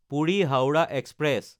Puri-Howrah express